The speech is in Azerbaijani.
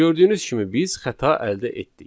Gördüyünüz kimi biz xəta əldə etdik.